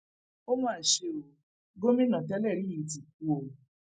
ó mà ṣe ó gómìnà tẹlẹrí yìí ti kú o